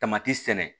Tamati sɛnɛ